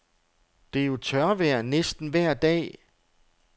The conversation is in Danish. Det er jo tørvejr næsten vejr dag.